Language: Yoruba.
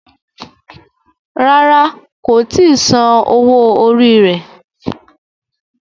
Ràrá kò tí Sàn owo orí rẹ.